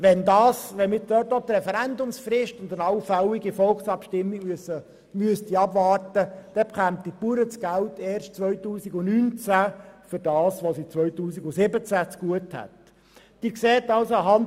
Wenn wir dort auch die Referendumsfrist und eine allfällige Volksabstimmung abwarten müssten, dann würden die Bauern ihre Beiträge für das, was sie 2017 zugute haben, erst 2019 erhalten.